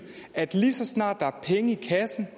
at lige så snart der er penge i kassen